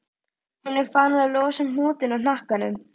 Hún er farin að losa um hnútinn í hnakkanum.